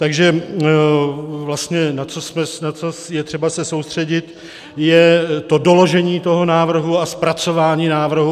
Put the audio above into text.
Takže vlastně na co je třeba se soustředit, je to doložení toho návrhu a zpracování návrhu.